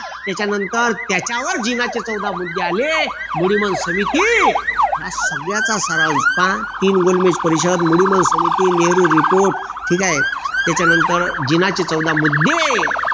त्याच्यानंतर त्याच्यावर जीवनाचे चौदा बुद्धे आले मग समिती या सगळ्याचा सराव पहा तीन गोलबेज परिषद समिती नेहरू report ठीक आहे त्याच्यानंतर जिनाचे चौदा मुद्दे